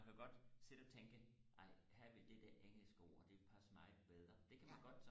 man kan godt sidde og tænke ej her ville det der engelske ord det ville passe meget bedre det kan man godt